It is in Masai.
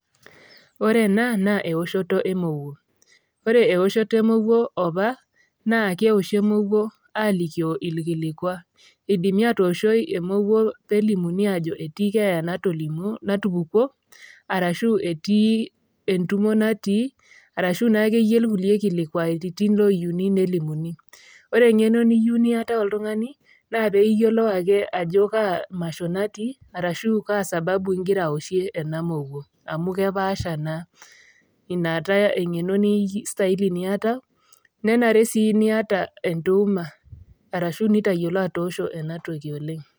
Ore ena naa eoshoto e emouwuo. Ore eoshoto e emouwuo opa naa keoshi emouwuo alikio ilkilikwa, eidimi atooshoki emouwuo pee elimuni ajo ketii keeya natupukuo, arashu etii entumo natii arashu naa ake iyie ilkulie kilikwairitin oiyouni nelimuni. Ore eng'eno neyiou neatau oltung'ani naa pee iyiolou ake ajo Kaa masho natii arashu Kaa sababu ingira aoshie ena mowuo amu kepaasha naa. Ina taa eng'eno neistaili niatau, nenare sii niatau entuuma arashu nintayiolo atoosho ena toki oleng'.